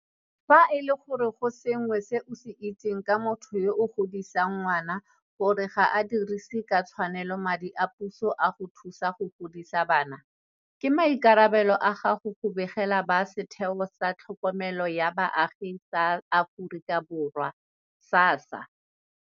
Fa e le gore go sengwe se o se itseng ka motho yo a godisang ngwana gore ga a dirise ka tshwanelo madi a puso a go thusa go godisa bana, ke maikarabelo a gago go begela ba Setheo sa Tlhokomelo ya Baagi sa Aforika Borwa, SASSA.